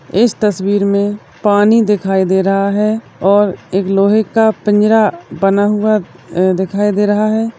इस तस्वीर में पानी दिखाई दे रहा है और एक लोहे का पिंजरा बना हुआ एं देखाई दे रहा है।